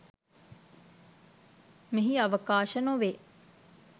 මෙහි අවකාශ නොවේ.